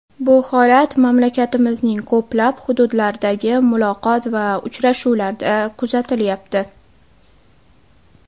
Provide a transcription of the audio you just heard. Bu holat mamlakatimizning ko‘plab hududlaridagi muloqot va uchrashuvlarda kuzatilyapti.